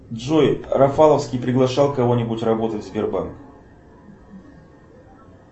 джой рафаловский приглашал кого нибудь работать в сбербанк